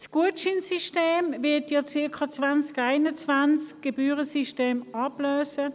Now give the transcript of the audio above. Das Gutscheinsystem wird das Gebührensystem ungefähr 2021 ablösen.